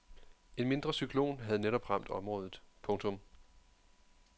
En mindre cyklon havde netop ramt området. punktum